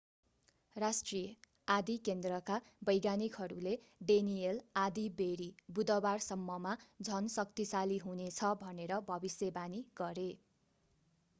राष्ट्रिय आँधी केन्द्रका वैज्ञानिकहरूले डेनिएल आँधीबेहरी बुधबाररसम्ममा झन् शक्तिशाली हुनेछ भनेर भविष्यवाणी गरे